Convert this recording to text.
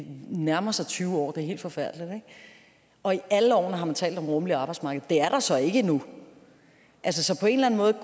nærmer sig tyve år det er helt forfærdeligt og i alle årene har man talt om det rummelige arbejdsmarked det er der så ikke endnu